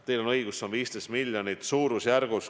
Teil on õigus, see on suurusjärgus 15 miljonit.